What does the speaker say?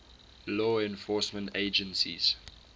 law enforcement agencies